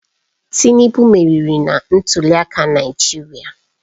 Tinubu meriri na ntuliaka Naijiria